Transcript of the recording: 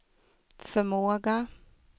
förmåga